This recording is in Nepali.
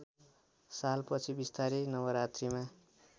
सालपछि बिस्तारै नवरात्रिमा